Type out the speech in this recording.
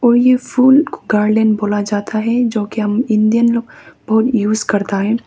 और ये फुल गार्डन बोला जाता है जोकि हम इंडियन लोग बहुतयूज करता है।